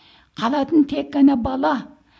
қалатын тек қана бала